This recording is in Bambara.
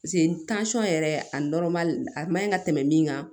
yɛrɛ a a man ɲi ka tɛmɛ min kan